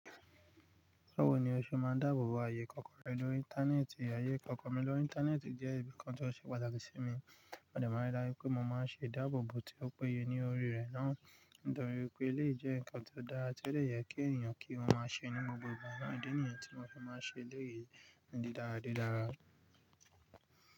Báwo ni o ṣe máa dáàbò bo ààyè kọ̀ọ̀ko rẹ lórí. Íńtánẹ́ẹ̀tì. Ààyè kọ̀ọ̀ko mi lórí íńtánẹ́ẹ̀tì jẹ́ ǹkan tó ṣe pàtàkì sí mi. Mo dẹ̀ má ń rí dájú pé mo máa ń ṣe e dáàbò bo tí ó péye ní orí rẹ̀ náà nítorí pé léyìí jẹ́ ǹkan tó dára tí ó lè yẹ kí èèyàn kí wọ́n máa ṣe nínú gbogbo àná. Ó jẹ́ ní ẹ̀yàn tí mo fi máa ṣe léyìí di dáradára.